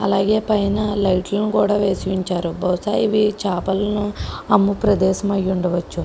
అలాగే పైన లైట్ల ను కూడా వేసి ఉంచారు. బహుశా ఇవి చాపలను అమ్ము ప్రదేశము అయ్యి ఉండవచ్చు.